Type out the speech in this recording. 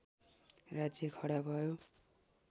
राज्य खडा भयो